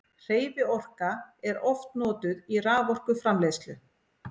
hreyfiorka er oft notuð í raforkuframleiðslu